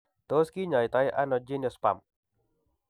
Tos kinyai to ano geniospasm ?